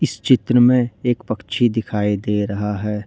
इस चित्र में एक पक्षी दिखाई दे रहा है।